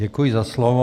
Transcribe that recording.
Děkuji za slovo.